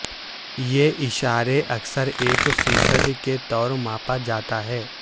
یہ اشارے اکثر ایک فی صد کے طور ماپا جاتا ہے